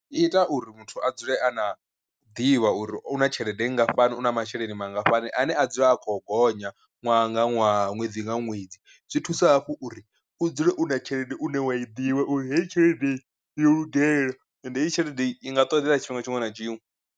I ita uri muthu a dzule a na ḓivha uri u na tshelede nngafhani una masheleni mangafhani ane a dzula a khou gonya ṅwaha nga ṅwaha ṅwedzi nga ṅwedzi, zwi thusa hafhu uri u dzule u na tshelede une wa i ḓivha uri heyi tshelede yo lugela ende hei tshelede i nga ṱoḓeya tshifhinga tshiṅwe na tshiṅwe.